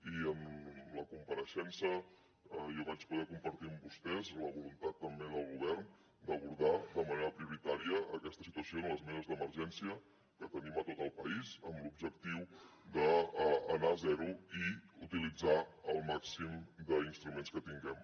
i en la compareixença jo vaig poder compartir amb vostès la voluntat també del govern d’abordar de manera prioritària aquesta situació en les meses d’emergència que tenim a tot el país amb l’objectiu d’anar a zero i utilitzar el màxim d’instruments que tinguem